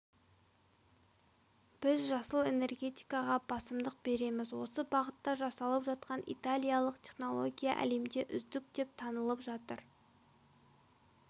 біз жасыл энергетикаға басымдық береміз осы бағытта жасалып жатқан италиялық технология әлемде үздік деп танылып жатыр